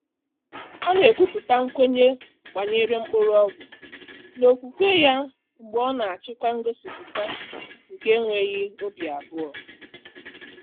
ọ́ nà-ékwúpụ́tà nkwènye gbànyéré mkpọ́rọ́gwụ́ n’ókwúkwé yá mgbè ọ́ nà-àchị́kwá ngọ́sípụ́tà nké énwéghị́ óbí àbụ́ọ́.